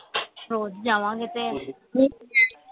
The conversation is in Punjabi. ਹੋਰ ਜਾਵਾਂਗੇ ਤੇ